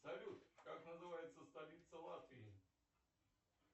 салют как называется столица латвии